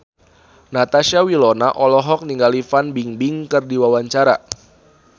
Natasha Wilona olohok ningali Fan Bingbing keur diwawancara